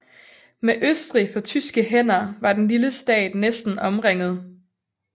Med Østrig på tyske hænder var den lille stat næsten omringet